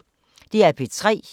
DR P3